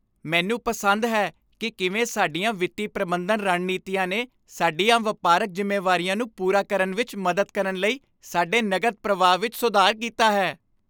ਮੈਨੂੰ ਪਸੰਦ ਹੈ ਕਿ ਕਿਵੇਂ ਸਾਡੀਆਂ ਵਿੱਤੀ ਪ੍ਰਬੰਧਨ ਰਣਨੀਤੀਆਂ ਨੇ ਸਾਡੀਆਂ ਵਪਾਰਕ ਜ਼ਿੰਮੇਵਾਰੀਆਂ ਨੂੰ ਪੂਰਾ ਕਰਨ ਵਿੱਚ ਮਦਦ ਕਰਨ ਲਈ ਸਾਡੇ ਨਕਦ ਪ੍ਰਵਾਹ ਵਿੱਚ ਸੁਧਾਰ ਕੀਤਾ ਹੈ।